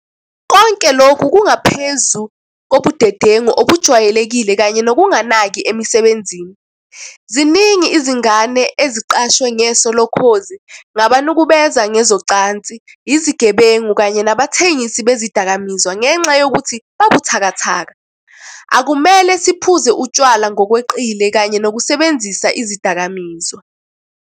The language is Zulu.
Konke lokhu kungaphezu kobudedengu obujwayelekile kanye nokunganaki emsebenzini. Ziningi izingane eziqashwe ngeso lokhozi ngabanukubeza ngezocansi, izigebengu kanye nabathengisi bezidakamizwa ngenxa yokuthi babuthakathaka. Akumele siphuze utshwala ngokweqile kanye nokusebenzisa izidakamizwa.